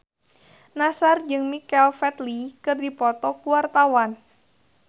Nassar jeung Michael Flatley keur dipoto ku wartawan